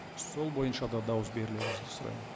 сол бойынша да дауыс берулеріңізді сұраймын